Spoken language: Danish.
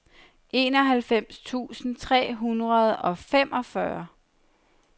enoghalvfems tusind tre hundrede og femogfyrre